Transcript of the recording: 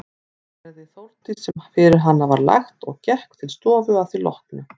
Gerði Þórdís sem fyrir hana var lagt og gekk til stofu að því loknu.